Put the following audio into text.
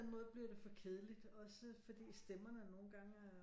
Måde bliver det for kedeligt også fordi at stemmerne nogle gange er